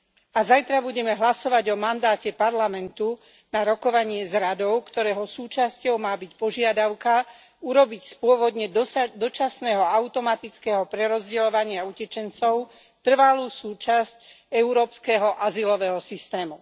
A zajtra budeme hlasovať o mandáte Parlamentu na rokovanie s Radou, ktorého súčasťou má byť požiadavka urobiť z pôvodne dočasného automatického prerozdeľovania utečencov trvalú súčasť európskeho azylového systému.